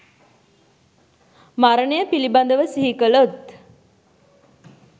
මරණය පිළිබඳව සිහි කළොත්